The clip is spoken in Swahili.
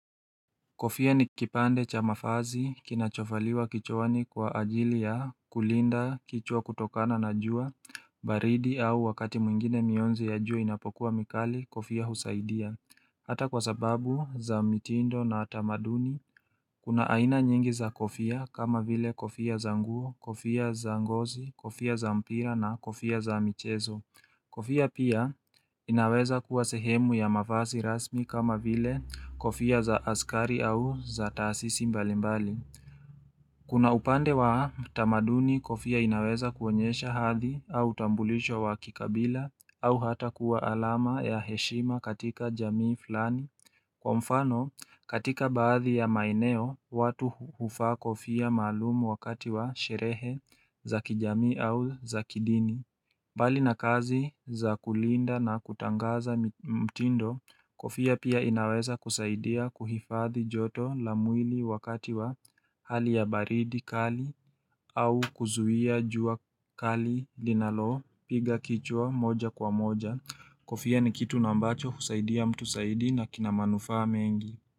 Kofia ni kipande cha mavazi, kinachovaliwa kichwani kwa ajili ya kulinda kichwa kutokana na jua, baridi au wakati mwingine mionzi ya jua inapokuwa mikali, kofia husaidia. Hata kwa sababu za mitindo na tamaduni, kuna aina nyingi za kofia kama vile kofia za nguo, kofia za ngozi, kofia za mpira na kofia za michezo. Kofia pia inaweza kuwa sehemu ya mavasi rasmi kama vile kofia za askari au za taasisi mbalimbali. Kuna upande wa tamaduni kofia inaweza kuonyesha hadhi au tambulisho wa kikabila au hata kuwa alama ya heshima katika jamii fulani. Kwa mfano katika baadhi ya maeneo watu huvaa kofia malumu wakati wa sherehe za kijamii au za kidini. Mbali na kazi za kulinda na kutangaza mtindo kofia pia inaweza kusaidia kuhifadhi joto la mwili wakati wa hali ya baridi kali au kuzuia jua kali linalo piga kichwa moja kwa moja. Kofia ni kitu na ambacho kusaidia mtu zaidi na kina manufaa mengi.